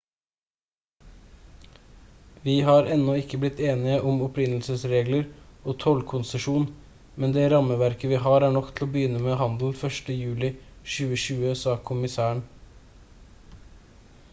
«vi har ennå ikke blitt enige om opprinnelsesregler og tollkonsesjon men det rammeverket vi har er nok til å begynne med handel 1. juli 2020» sa kommissæren